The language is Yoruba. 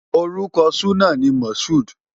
Orúkọ súná ni Mashood.